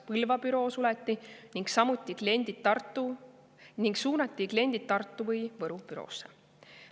Põlva büroo suleti ning suunati kliendid Tartu või Võru büroosse.